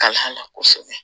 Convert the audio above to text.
Ka hamina kosɛbɛ